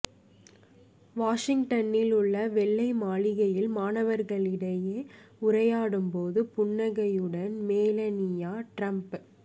வாஷிங்டனில் உள்ள வெள்ளை மாளிகையில் மாணவர்களிடையே உரையாடும் போது புன்னகையுடன் மெலனியா டிரம்ப்